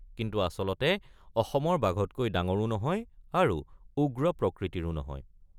কিন্তু আচলতে অসমৰ বাঘতকৈ ডাঙৰো নহয় আৰু উগ্ৰ প্ৰকৃতিৰো নহয়।